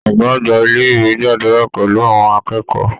Ọ̀gá àgbà ilé-ìwe gbàdúrà pẹlú àwọn akẹ́kọ̀ọ́.